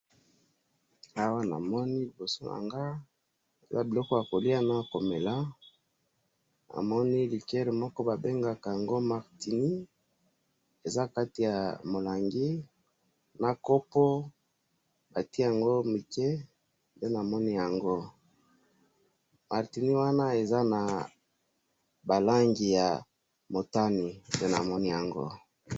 awa namomi ba misusu batelami nase ya parapluie, nase ya parapluie namoni ba mamas balati ba liputa ba papas balati ba vestes ya bozinga ba misusu balati ba patalons ya pembe nde nazo bona awa